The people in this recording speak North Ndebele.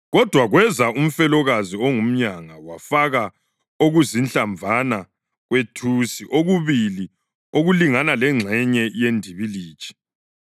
Kodwa kweza umfelokazi ongumyanga wafaka okuzinhlamvana kwethusi okubili okulingana lengxenyana yendibilitshi.